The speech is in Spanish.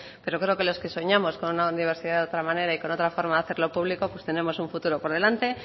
pero creo que los que soñamos con una universidad de otra manera y con otra forma de hacer lo público tenemos un futuro por delante